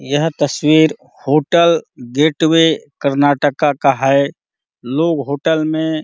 यहाँ तस्वीर hotel gateway Karnataka का है लोग होटल में --